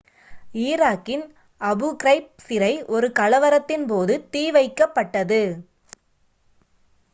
ஈராக்கின் Abu Ghraib சிறை ஒரு கலவரத்தின் போது தீ வைக்கப்பட்டது